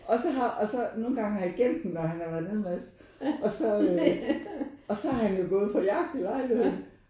Og så har og så nogen gange har jeg gemt hvor han har været neden med et eller andet og så og så har han jo gået på jagt i lejligheden